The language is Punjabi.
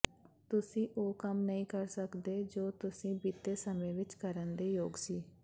ਤੁਸੀਂ ਉਹ ਕੰਮ ਨਹੀਂ ਕਰ ਸਕਦੇ ਜੋ ਤੁਸੀਂ ਬੀਤੇ ਸਮੇਂ ਵਿੱਚ ਕਰਨ ਦੇ ਯੋਗ ਸੀ